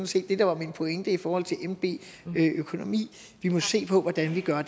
set det der var min pointe i forhold til nb økonomi vi må se på hvordan vi gør